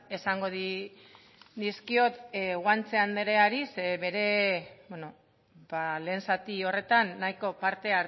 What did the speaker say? esango dizkiot guanche andreari zeren bere bueno lehen zati horretan nahiko parte